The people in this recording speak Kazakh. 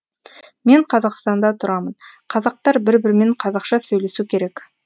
мен қазақстанда тұрамын қазақтар бір бірімен қазақша сөйлесу керек